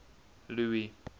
louis